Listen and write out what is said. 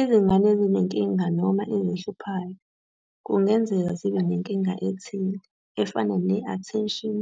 Izingane ezinenkinga noma 'ezihluphayo' kungenzeka zibe nenkinga ethile, efana ne-Attention